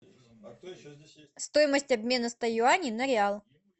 стоимость обмена ста юаней на реал